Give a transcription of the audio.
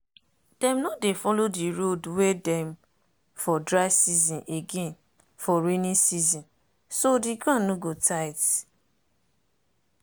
dem no dey follow the road wey dem for dry season again for rainy season so the ground no go tight.